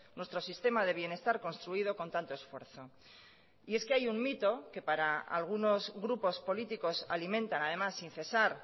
nuestro sistema de bienestar construido con tanto esfuerzo y es que hay un mito que para algunos grupos políticos alimentan además sin cesar